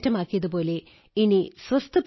ഇത് നമ്മെയും ഒരു പാഠം പഠിപ്പിക്കുന്നു